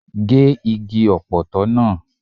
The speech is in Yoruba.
Gé igi Ọ̀pọ̀tọ́ náà!